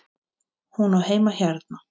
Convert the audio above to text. Hún á heima hérna!